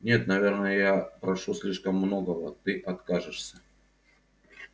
нет наверное я прошу слишком многого ты откажешься